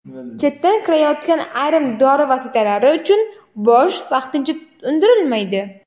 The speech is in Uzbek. Chetdan kirayotgan ayrim dori vositalari uchun boj vaqtincha undirilmaydi.